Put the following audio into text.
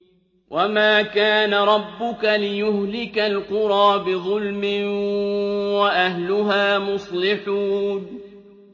وَمَا كَانَ رَبُّكَ لِيُهْلِكَ الْقُرَىٰ بِظُلْمٍ وَأَهْلُهَا مُصْلِحُونَ